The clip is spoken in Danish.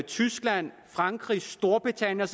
tyskland frankrig storbritannien og